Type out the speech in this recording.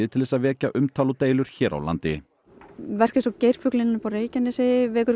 til þess að vekja umtal og deilur hér á landi verk eins og geirfuglinn á Reykjanesi vekur